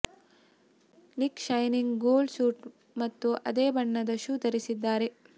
Nick shining gold suit ಮತ್ತು ಅದೇ ಬಣ್ಣದ ಶೂ ಧರಿಸಿದ್ದಾರೆ